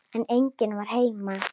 En enginn var heima.